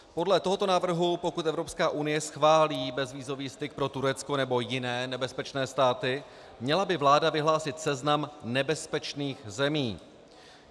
Podle tohoto návrhu, pokud Evropská unie schválí bezvízový styk pro Turecko nebo jiné nebezpečné státy, měla by vláda vyhlásit seznam nebezpečných zemí.